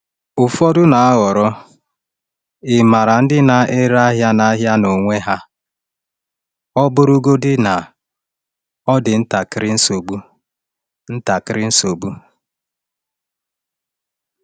Ụfọdụ na-ahọrọ ịmara ndị na-ere ahịa n’ahịa n’onwe ha, ọ bụrụgodị na ọ dị ntakịrị nsogbu. ntakịrị nsogbu.